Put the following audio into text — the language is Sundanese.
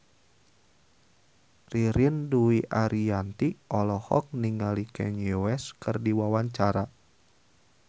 Ririn Dwi Ariyanti olohok ningali Kanye West keur diwawancara